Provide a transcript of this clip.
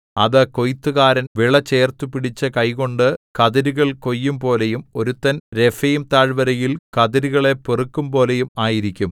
അത് കൊയ്ത്തുകാരൻ വിളചേർത്തു പിടിച്ചു കൈകൊണ്ട് കതിരുകൾ കൊയ്യുംപോലെയും ഒരുത്തൻ രെഫയീം താഴ്വരയിൽ കതിരുകളെ പെറുക്കുംപോലെയും ആയിരിക്കും